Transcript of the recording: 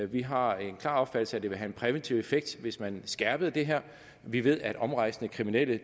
vi har en klar opfattelse af at det vil have en præventiv effekt hvis man skærpede det her vi ved at omrejsende kriminelle